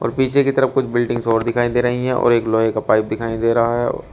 पीछे की तरफ कुछ बिल्डिंग्स और दिखाई दे रही है और एक लोहे का पाइप दिखाई दे रहा है।